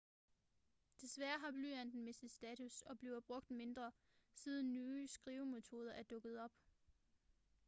desværre har blyanten mistet status og bliver brugt mindre siden nye skrivemetoder er dukket op